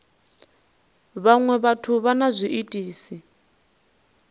vhaṅwe vhathu vha na zwiitisi